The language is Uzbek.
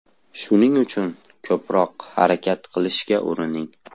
Shuning uchun ko‘proq harakat qilishga urining!